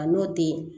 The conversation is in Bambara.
A n'o tɛ